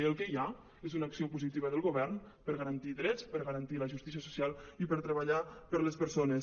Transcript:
i el que hi ha és una acció positiva del govern per garantir drets per garantir la justícia social i per treballar per les persones